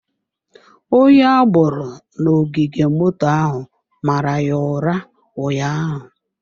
Onye agboro na ogige moto ahụ mara ya ụra ụnyaahụ.